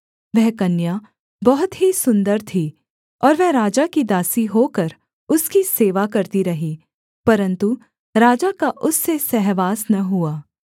वह कन्या बहुत ही सुन्दर थी और वह राजा की दासी होकर उसकी सेवा करती रही परन्तु राजा का उससे सहवास न हुआ